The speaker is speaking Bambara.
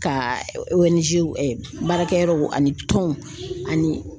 Ka baarakɛ yɔrɔw ani tɔnw ani